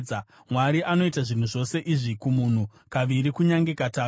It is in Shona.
“Mwari anoita zvinhu zvose izvi kumunhu, kaviri, kunyange katatu,